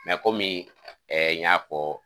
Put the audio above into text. Mɛ komin ɛɛ y'a fɔ